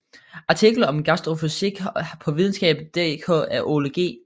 Artikel om gastrofysik på videnskab dk af Ole G